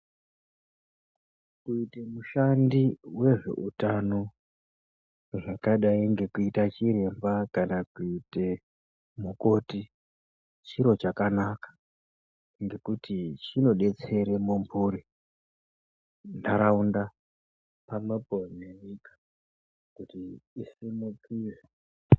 Kuita mushandi wezveutano zvakadaii nekuite chiremba kana kuite mukoti chiro chakanaka ngekuti chinobetsera mumhuri ,nharaunda pamwepo nenyika kuti isimukire .